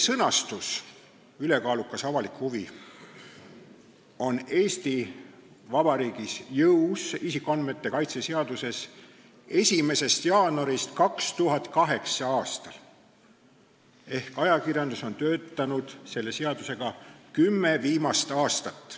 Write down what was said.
Sõnastus "ülekaalukas avalik huvi" on Eesti Vabariigis, isikuandmete kaitse seaduses jõus 1. jaanuarist 2008. aastal ehk ajakirjandus on töötanud selle seaduse järgi kümme viimast aastat.